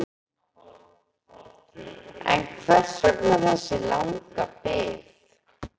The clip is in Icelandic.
En hvers vegna þessi langa bið?